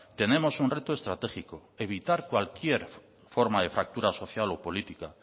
tenemos un reto estratégico evitar cualquier forma de fractura social o política